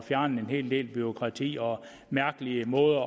fjerne en hel del bureaukrati og mærkelige måder